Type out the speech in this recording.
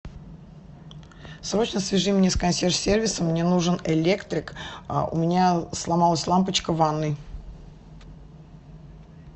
срочно свяжи меня с консьерж сервисом мне нужен электрик у меня сломалась лампочка в ванной